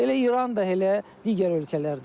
Elə İran da elə, digər ölkələr də elə.